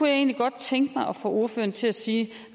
jeg egentlig godt tænke mig at få ordføreren til at sige